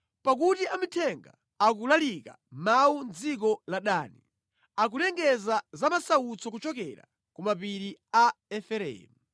Pakuti amithenga akulalika mawu mʼdziko la Dani; akulengeza za masautso kuchokera ku mapiri a Efereimu.